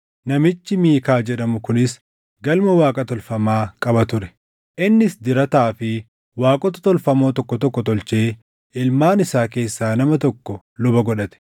Namichi Miikaa jedhamu kunis galma Waaqa tolfamaa qaba ture; innis dirataa fi waaqota tolfamoo tokko tokko tolchee ilmaan isaa keessaa nama tokko luba godhate.